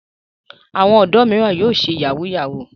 Àwọn ọ̀dọ́ mìíràn yóò ṣe yahoo yahoo.